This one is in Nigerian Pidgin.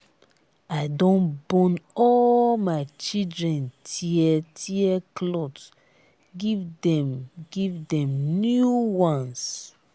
i don burn all my children tear-tear cloth give dem give dem new ones.